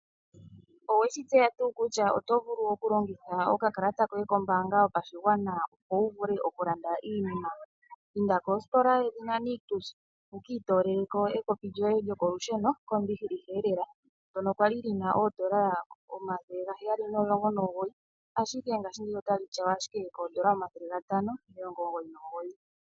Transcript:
Oweshi tseya tuu kutya oto vulu okulongitha okakalata koye kombaanga yopashigwana opo wuvule okulanda iinima? Inda kostola yoNictus wukiitoleleko ekopi lyoye lyokolusheno kombiliha lela. Ndyono kwali lina oondola omathele gaheyali nomulongo nomugoyi ashike paife otali tyawa koondola omathele gatano nomilongo omugoyi nomugoyi.